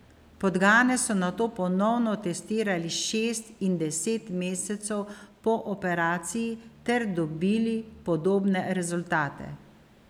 Podgane so nato ponovno testirali šest in deset mesecev po operaciji ter dobili podobne rezultate.